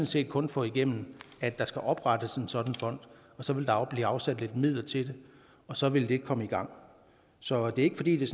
set kun få igennem at der skal oprettes en sådan fond og så vil der blive afsat lidt midler til det og så vil det komme i gang så det er ikke fordi det